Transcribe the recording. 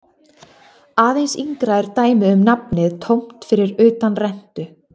Aðeins yngra er dæmið um nafnið tómt fyrir utan rentu.